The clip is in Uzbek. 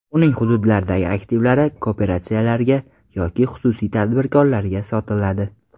Uning hududlardagi aktivlari kooperatsiyalarga yoki xususiy tadbirkorlarga sotiladi.